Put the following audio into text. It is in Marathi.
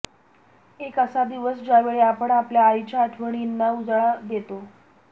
एक असा दिवस ज्यावेळी आपण आपल्या आईच्या आठवणींना उजाळा देतो